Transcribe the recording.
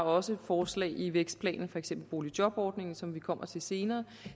også forslag i vækstplanen for eksempel boligjobordningen som vi kommer til senere